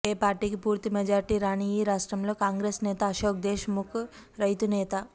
ఏ పార్టీకి పూర్తి మెజారిటీ రాని ఈ రాష్ట్రంలో కాంగ్రెస్ నేత అశోక్ దేశ్ ముఖ్ రైతు నేత